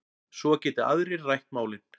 Svo geti aðrir rætt málin.